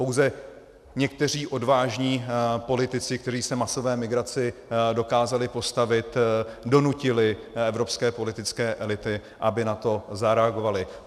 Pouze někteří odvážní politici, kteří se masové migraci dokázali postavit, donutili evropské politické elity, aby na to zareagovaly.